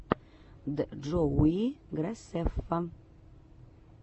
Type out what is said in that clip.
джоуи грасеффа